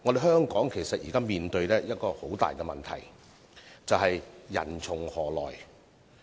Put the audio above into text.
香港目前面對一個重大問題，就是人從何來。